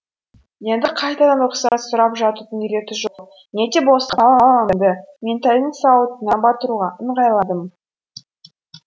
енді қайтадан рұқсат сұрап жатудың реті жоқ не де болса қаламымды меңтайдың сауытына батыруға ыңғайландым